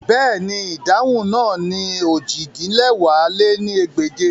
Bẹ́ẹ̀ni, idahun naa ni ojì-din-lẹwá lé ní ẹgbẹ́je